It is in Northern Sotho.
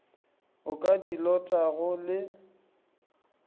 o ka di lotago le